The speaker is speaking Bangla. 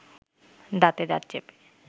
দাঁতে দাঁত চেপে